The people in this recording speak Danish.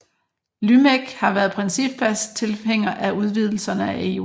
LYMEC har været principfast tilhænger af udvidelserne af EU